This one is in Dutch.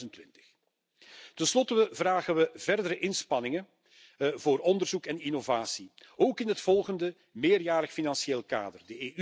tot 2020. Ten slotte vragen we verdere inspanningen voor onderzoek en innovatie, ook in het volgende meerjarig financieel kader.